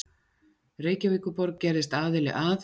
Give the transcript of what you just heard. Reykjavíkurborg gerðist aðili að